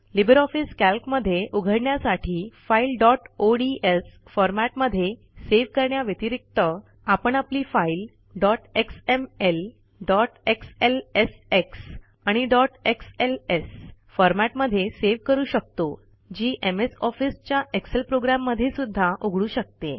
Libre office कॅल्कमध्ये उघडण्यासाठी फाईलdot ओडीएस फॉरमॅटमध्ये सेव्ह करण्या व्यतिरिक्त आपण आपली फाईल xml xlsx आणि xls फॉरमॅटमध्ये सेव्ह करू शकतो जी एमएस Officeच्या एक्सेल प्रोग्रॅम मध्ये सुध्दा उघडू शकते